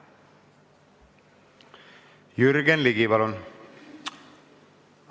Jürgen Ligi, palun!